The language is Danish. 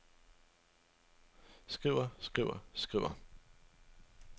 skriver skriver skriver